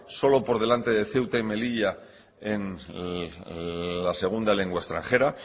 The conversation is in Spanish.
solo por delante de ceuta y melilla en la segunda lengua extranjera